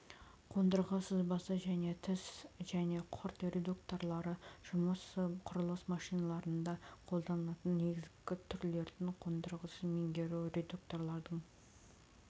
қондырғы сызбасы және тіс және құрт редукторлары жұмысы құрылыс машиналарында қолданылатын негізгі түрлерін қондырғысын меңгеру редукторлардың